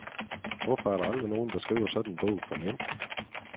Hvorfor er der aldrig nogen, der skriver sådan en bog for mænd?